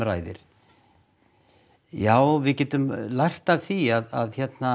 já við getum lært af því að